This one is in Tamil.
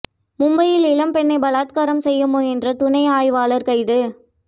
மும்பையில் இளம் பெண்ணை பலாத்காரம் செய்ய முயன்ற துணை ஆய்வாளர் கைது